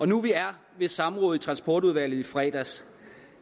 nu vi er ved samrådet i transportudvalget i fredags